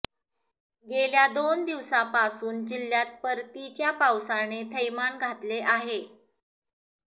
गेल्या दोन दिवसांपासून जिह्यात परतीच्या पावसाने थैमान घातले आहे